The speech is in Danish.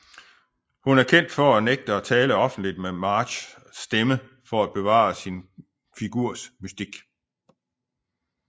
Hun er kendt for at nægte at tale offentligt med Marges stemme for at bevare sin figurs mystik